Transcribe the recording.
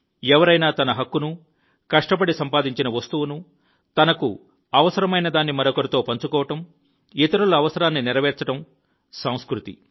ఎవరైనా తన హక్కును కష్టపడి సంపాదించిన వస్తువును తనకు అవసరమైనదాన్ని మరొకరితో పంచుకోవడం ఇతరుల అవసరాన్ని నెరవేర్చడం సంస్కృతి